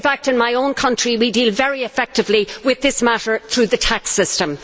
In fact, in my own country, we deal very effectively with this matter through the tax system.